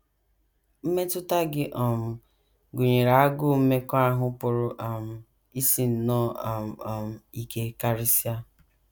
Mmetụta gị um gụnyere agụụ mmekọahụ pụrụ um isi nnọọ um um ike karịsịa.